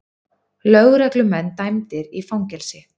Lögreglumenn dæmdir í fangelsi